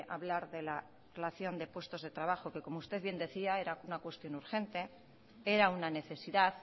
hablar de la relación de puestos de trabajo que como usted bien decía era una cuestión urgente era una necesidad